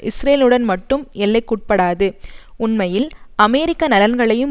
இஸ்ரேலுடன் மட்டும் எல்லைக்குட்படாது உண்மையில் அமெரிக்க நலன்களையும்